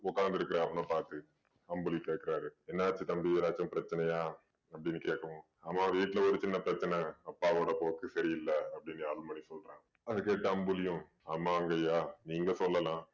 உட்காந்திருக்கிற அவன பாத்து அம்புலி கேக்குறாரு என்னாச்சு தம்பி ஏதாச்சும் பிரச்சனையா அப்படீன்னு கேக்கவும் ஆமாம் வீட்டுல ஒரு சின்ன பிரச்சனை. அப்பாவோட போக்கு சரியில்ல அப்படீன்னு அருள்மணி சொல்றான். அதை கேட்டு அம்புலியும் ஆமாங்கைய்யா நீங்க சொல்லலாம்